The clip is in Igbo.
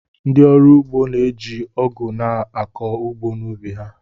Ndị ọrụ ugbo na-eji Ọgụ na-akọ ugbo n’ugbo ha